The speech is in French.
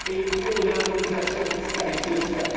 Il nous faut une harmonisation fiscale et sociale.